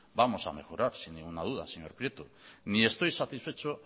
vamos a mejorar sin ninguna duda señor prieto ni estoy satisfecho